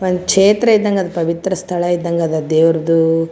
ಒಂದ ಛೇತ್ರ ಇದಂಗ್ ಪವಿತ್ರ ಸ್ಥಳ ಇದಂಗ್ ಅದ್ ದೇವ್ರದು .